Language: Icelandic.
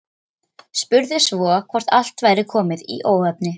Spurði svo hvort allt væri komið í óefni.